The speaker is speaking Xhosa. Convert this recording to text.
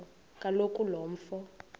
kaloku lo mfo